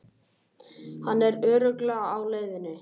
Hann er örugglega á leiðinni.